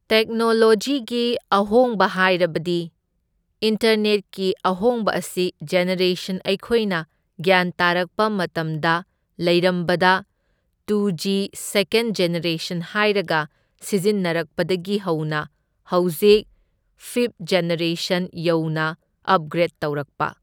ꯇꯦꯛꯅꯣꯂꯣꯖꯤꯒꯤ ꯑꯍꯣꯡꯕ ꯍꯥꯏꯔꯕꯗꯤ ꯏꯟꯇꯔꯅꯦꯠꯀꯤ ꯑꯍꯣꯡꯕ ꯑꯁꯤ ꯖꯦꯅꯦꯔꯦꯁꯟ ꯑꯩꯈꯣꯏꯅ ꯒ꯭ꯌꯥꯟ ꯇꯥꯔꯛꯄ ꯃꯇꯝꯗ ꯂꯩꯔꯝꯕꯗ ꯇꯨ ꯖꯤ ꯁꯦꯀꯦꯟ ꯖꯦꯅꯦꯔꯦꯁꯟ ꯍꯥꯏꯔꯒ ꯁꯤꯖꯤꯟꯅꯔꯛꯄꯗꯒꯤ ꯍꯧꯅ ꯍꯧꯖꯤꯛ ꯐꯤꯞ ꯖꯦꯅꯦꯔꯦꯁꯟ ꯌꯧꯅ ꯑꯞꯒ꯭ꯔꯦꯠ ꯇꯧꯔꯛꯄ꯫